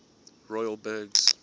royal burghs